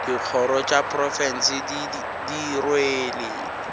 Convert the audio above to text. dikgoro tša profense di rwele